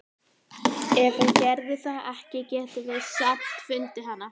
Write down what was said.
Ef hún gerði það ekki getum við samt fundið hana.